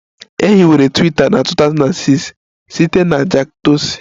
E hiwere Twiita na 2006 site na Jack Dorsey